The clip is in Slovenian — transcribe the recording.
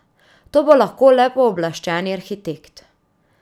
To bo lahko le pooblaščeni arhitekt.